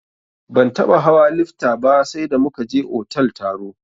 Ban taɓa hawa lifta ba sai da muka je otal taro.